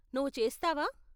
నువ్వు చేస్తావా?